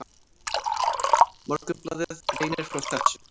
Morgunblaðið greinir frá þessu.